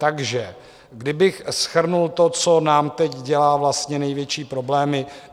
Takže kdybych shrnul to, co nám teď dělá vlastně největší problémy.